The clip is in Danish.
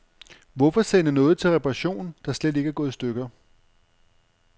Hvorfor sende noget til reparation, der slet ikke er gået i stykker.